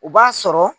O b'a sɔrɔ